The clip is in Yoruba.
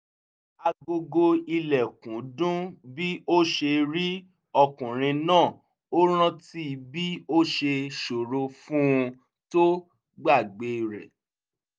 agogo ilẹ̀kùn dún bí ó ṣe rí ọkùnrin náà ó rántí bí ó ṣe ṣòro fún un tó gbàgbé rẹ̀